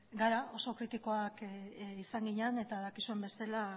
garela oso kritikoak izan ginen eta dakizuen bezala